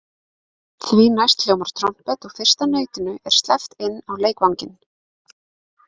Því næst hljómar trompet og fyrsta nautinu er sleppt inn á leikvanginn.